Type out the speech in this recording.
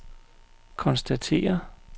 konstatere